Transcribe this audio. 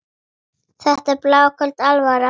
Þetta er bláköld alvara.